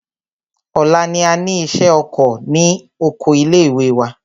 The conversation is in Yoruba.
Ọ̀la ni a ní ìṣẹ́ oko ní oko ilé ìwé.